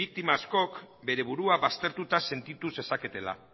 biktima askok bere burua baztertuta sentitu zezaketela